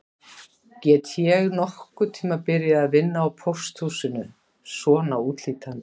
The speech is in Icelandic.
Get ég nokkurn tíma byrjað að vinna á pósthúsinu svona útlítandi